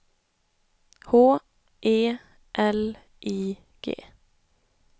H E L I G